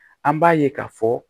An b'a ye k'a fɔ